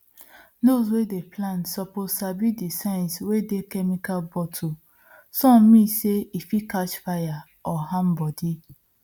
those wey dey plant suppose sabi the signs wey dey chemical bottlesome mean say e fit catch fire or harm body